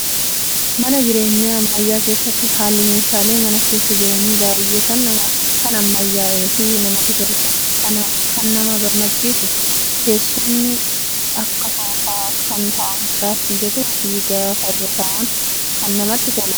Mana jireenyaa ammayyaa keessatti haalli meeshaalee mana keessa jiranii baay'ee kan ammayyaa'ee fi namatti toludha. Kan nama gammachiisu teessumni akka soofaa kan taa'umsaaf mijatuu fi gaafa irra taa'an kan namatti toludha.